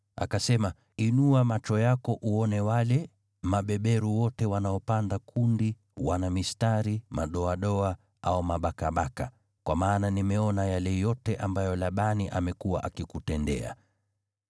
Akasema, ‘Inua macho yako uone wale mabeberu wote wanaopanda kundi wana mistari, madoadoa au mabakabaka, kwa maana nimeona yale yote ambayo Labani amekuwa akikutendea.